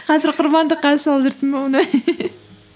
қазір құрбандыққа шалып жүрсің бе оны